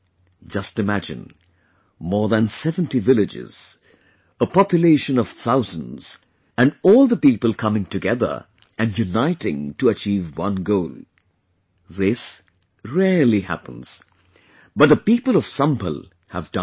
Just imagine...more than 70 villages, population of thousands and all the people coming together and uniting to achieve one goal...this rarely happens, but the people of Sambhalhave done it